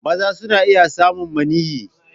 Maza suna iya samun maniyyi.